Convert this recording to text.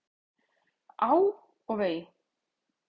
Á og vei!